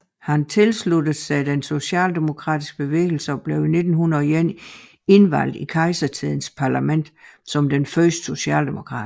Han tilsluttede sig den socialdemokratiske bevægelse og blev i 1901 indvalgt i kejsertidens parlament som den første socialdemokrat